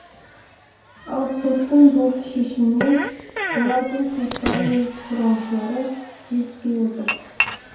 ал соттың бұл шешімімен олардың туыстары мен қорғаушылары келіспей отыр